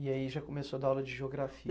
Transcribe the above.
E aí já começou a dar aula de geografia.